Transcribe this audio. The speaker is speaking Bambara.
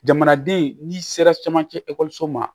Jamanaden n'i sera camancɛ ekɔliso ma